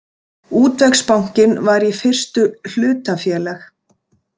Útvegsbankinn var í fyrstu hlutafélag.